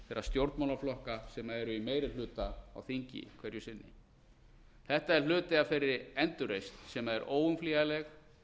stjórnmálaflokka sem eru í meiri hluta á þingi hverju sinni þetta er hluti af þeirri endurreisn sem er óumflýjanleg